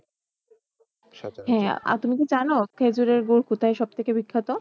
আর তুমি কি জানো খেজুরের গুড় কোথায় সব থেকে বিখ্যাত?